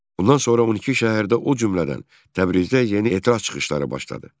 Bundan sonra 12 şəhərdə, o cümlədən Təbrizdə yeni etiraz çıxışları başladı.